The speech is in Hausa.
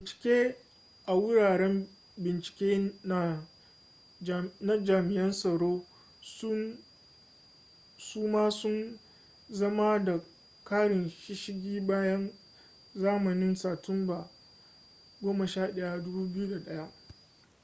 bincike a wuraren bincike na jami'an tsaro su ma sun zama da karin shishigi bayan zamanin satumba 11 2001